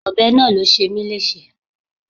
Ọbẹ̀ náà ló ṣe mí léṣe.